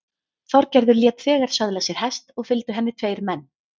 Þorgerður lét þegar söðla sér hest og fylgdu henni tveir menn.